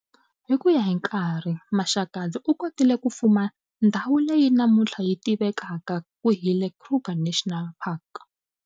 Hi kuya ka nkarhi, Maxakadzi u kotile ku fuma ndzhawu leyi namuntlha yi tivakaka ku hi le Kruger National Park.